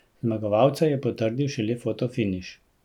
Zmagovalca je potrdil šele fotofiniš.